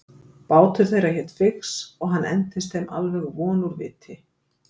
Bátur þeirra hét Fix og hann entist þeim alveg von úr viti.